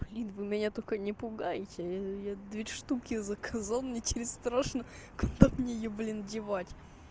блин вы меня только не пугайте я две штуки заказал мне теперь страшно куда мне её блин девать